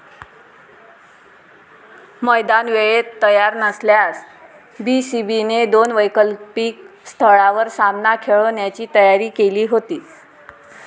मैदान वेळेत तयार नसल्यास बीसीबीने दोन वैकल्पिक स्थळांवर सामना खेळवण्याची तयारी केली होती.